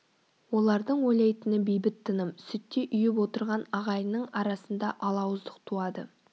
олардың ойлайтыны бейбіт тыным сүттей ұйып отырған ағайынның арасында алауыздық туады